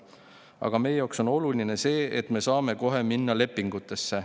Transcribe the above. Aga meie jaoks on oluline see, et me saame kohe minna lepingutesse.